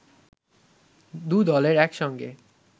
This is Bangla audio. দু দলের এক সঙ্গে